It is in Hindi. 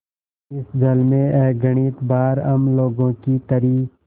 इस जल में अगणित बार हम लोगों की तरी